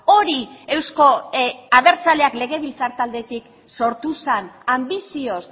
hori euzko abertzaleak legebiltzar taldetik sortu zen anbizioz